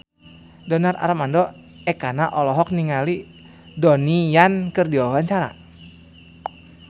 Donar Armando Ekana olohok ningali Donnie Yan keur diwawancara